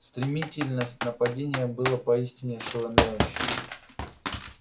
стремительность нападения была поистине ошеломляющей